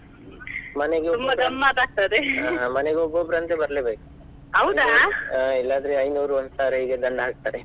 ಮನೆಗೆ ಹಾ ಮನೆಗೆ ಒಬ್ಬೊಬ್ಬರು ಅಂತೂ ಬರ್ಲೇಬೇಕು, ಹಾ ಇಲ್ಲಾದ್ರೆ ಐನೂರು ಒಂದ್ ಸಾವ್ರ ಹೀಗೆ ದಂಡ ಹಾಕ್ತಾರೆ.